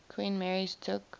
queen mary's took